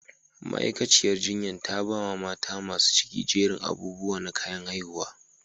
Ma'aikaciyar jinyan ta ba ma mata masun cikin jerin abubuwa na kayan haihuwa.